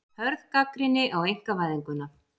Hörð gagnrýni á einkavæðinguna